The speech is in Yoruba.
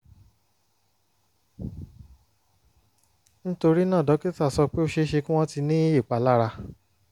nítorí náà dókítà sọ pé ó ṣe é ṣe kí wọ́n ti ní ìpalára